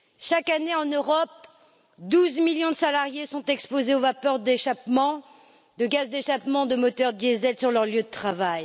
Chaque année en Europe, 12 millions de salariés sont exposés aux vapeurs d'échappements, de gaz d'échappement de moteurs diesel sur leur lieu de travail.